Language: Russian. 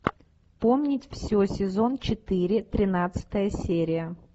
помнить все сезон четыре тринадцатая серия